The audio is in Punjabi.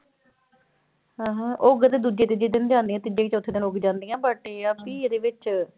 ਐਂ ਹੈਂ ਉੱਗ ਤੇ ਦੂਜੇ ਤੀਜੇ ਦਿਨ ਜਾਂਦੀਆਂ ਤੀਜੇ ਚੌਥੇ ਦਿਨ ਉੱਗ ਜਾਂਦੀਆਂ but ਇਹ ਆ ਵੀ ਇਹਦੇ ਵਿੱਚ